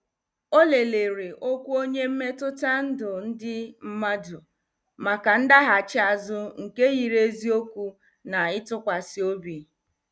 Ọ lelere okwu onye mmetụta ndụ ndị mmadu maka ndaghachi azụ nke yiri eziokwu na ịtụkwasị obi.